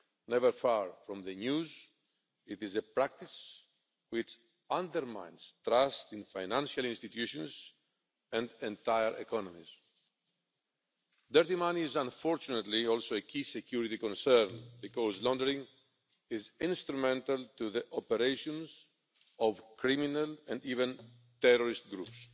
Never far from the news, it is a practice which undermines trust in financial institutions and entire economies. Dirty money is unfortunately also a key security concern because laundering is instrumental to the operations of criminal, and even terrorist, groups.